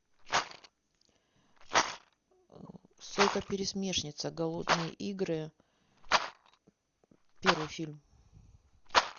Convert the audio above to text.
сойка пересмешница голодные игры первый фильм